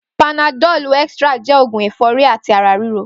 Pànádọ̀lú ẹ̀trá jẹ́ ógún ẹ̀fọ̀rí àtí àrá rìró